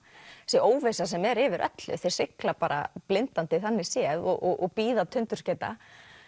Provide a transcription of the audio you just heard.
þessi óvissa sem er yfir öllu þeir sigla bara blindandi þannig séð og bíða